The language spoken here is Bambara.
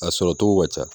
A sɔrɔ cogo ka ca